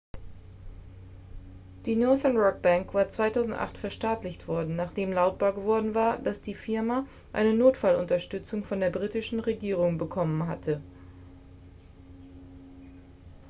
die northern-rock-bank war 2008 verstaatlicht worden nachdem lautbar geworden war dass die firma eine notfallunterstützung von der britischen regierung bekommen hatte